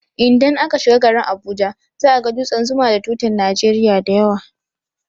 Indan aka shiga garin Abuja, za a ga dutsen zuma da tutan Nigeria dayawa